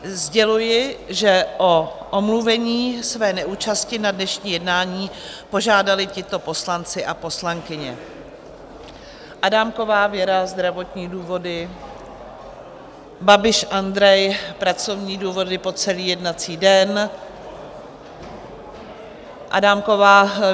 Sděluji, že o omluvení své neúčasti na dnešním jednání požádali tito poslanci a poslankyně: Adámková Věra - zdravotní důvody, Babiš Andrej - pracovní důvody po celý jednací den, Adámková